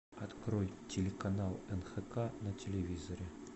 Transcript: открой телеканал нхк на телевизоре